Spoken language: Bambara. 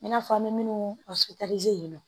I n'a fɔ an bɛ minnu yen nɔ